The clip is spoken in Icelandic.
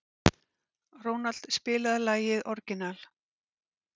Ronald, spilaðu lagið „Orginal“.